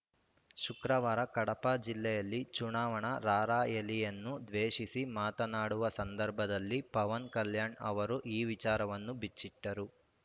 ಶುಕ್ರವಾರ ಕಡಪಾ ಜಿಲ್ಲೆಯಲ್ಲಿ ಚುನಾವಣಾ ರಾರ‍ಯಲಿಯನ್ನು ವ ಶಿಸಿ ಮಾತನಾಡುವ ಸಂದರ್ಭದಲ್ಲಿ ಪವನ್‌ ಕಲ್ಯಾಣ್‌ ಅವರು ಈ ವಿಚಾರವನ್ನು ಬಿಚ್ಚಿಟ್ಟರು